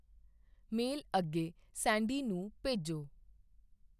ਮੇਲ ਅੱਗੇ ਸੈਂਡੀ ਨੂੰ ਭੇਜੋ।